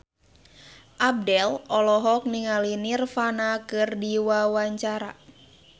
Abdel olohok ningali Nirvana keur diwawancara